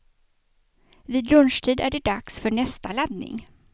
Vid lunchtid är det dags för nästa laddning.